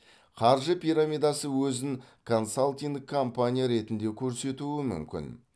қаржы пирамидасы өзін консалтинг компания ретінде көрсетуі мүмкін